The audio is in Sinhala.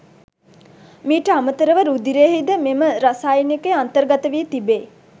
මීට අමතරව රුධිරයෙහි ද මෙම රසායනිකය අන්තර්ගත වී තිබේ.